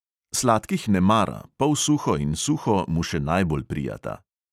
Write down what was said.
Sladkih ne mara, polsuho in suho mu še najbolj prijata.